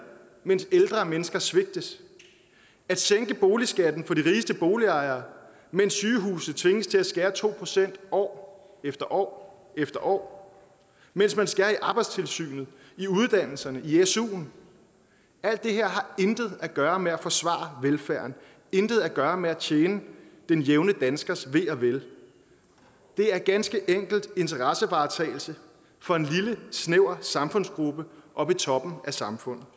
mens ældre mennesker svigtes at sænke boligskatten for de rigeste boligejere mens sygehuse tvinges til at skære to procent år efter år efter år mens man skærer i arbejdstilsynet i uddannelserne i suen alt det her har intet at gøre med at forsvare velfærden intet at gøre med at tjene den jævne danskers ve og vel det er ganske enkelt interessevaretagelse for en lille snæver samfundsgruppe oppe i toppen af samfundet